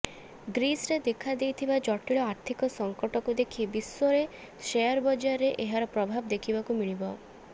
ଗ୍ରୀସରେ ଦେଖାଦେଇଥିବା ଜଟିଳ ଆର୍ଥିକ ସଙ୍କଟକୁ ଦେଖି ବିଶ୍ୱରେ ସେୟାର ବଜାରରେ ଏହାର ପ୍ରଭାବ ଦେଖିବାକୁ ମିଳିବ